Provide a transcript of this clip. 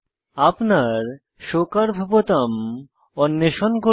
আপনার show curve বোতাম অন্বেষণ করুন